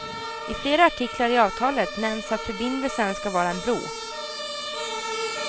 I flera artiklar i avtalet nämns att förbindelsen ska vara en bro.